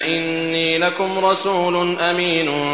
إِنِّي لَكُمْ رَسُولٌ أَمِينٌ